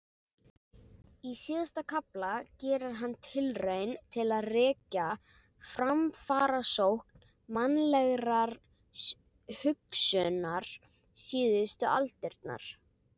Í síðasta kafla gerir hann tilraun til að rekja framfarasókn mannlegrar hugsunar síðustu aldirnar.